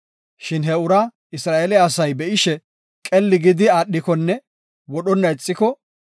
Shin he uraa Isra7eele asay be7ishe qelli gidi aadhikonne wodhonna ixiko,